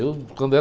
Eu, quando era